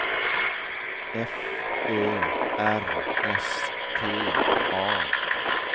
F Ö R S T A